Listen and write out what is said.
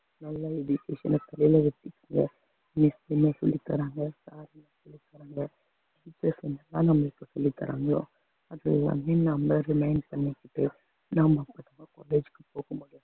சொல்லித்தராங்க sir சொல்லித்தராங்க அப்படீன்னு நம்மளை remain பண்ணிக்கிட்டு